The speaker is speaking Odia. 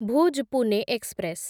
ଭୁଜ୍ ପୁନେ ଏକ୍ସପ୍ରେସ୍